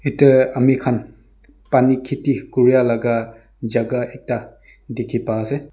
yete amikhan pani khedi kura laka gaka ekta dekhi ba ase.